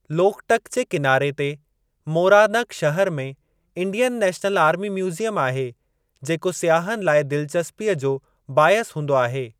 लोकटक जे किनारे ते मोरानग शहर में इंडियन नेशनल आर्मी म्यूज़ीयम आहे जेको सियाहनि लाइ दिलचस्पीअ जो बाइसु हूंदो आहे।